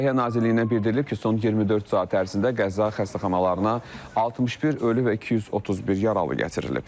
Səhiyyə Nazirliyindən bildirilib ki, son 24 saat ərzində qəza xəstəxanalarına 61 ölü və 231 yaralı gətirilib.